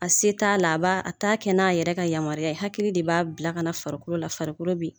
A se t'a la a ba a t'a kɛ n'a yɛrɛ ka yamaruya ye hakili de b'a bila ka na farikolo la farikolo bi